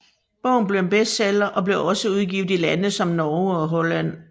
Bogen blev en bestseller og blev også udgivet i lande som Norge og Holland